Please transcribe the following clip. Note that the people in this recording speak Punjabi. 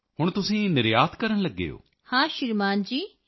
ਹੁਣ ਤੁਸੀਂ ਨਿਰਯਾਤ ਕਰਨ ਲੱਗੇ ਹੋ so now you are exporter